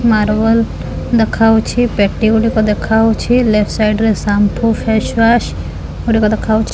Marble ଦେଖା ଯାଉଛି ପେଟି ଗୁଡ଼ିକ ଦେଖା ଯାଉଛି ଲେପ୍ଟ ସାଇଟ୍ ରେ ସାମ୍ପୁ ଫେସୱାସ ଗୁଡ଼ିକ ଦେଖା ଯାଉଛି।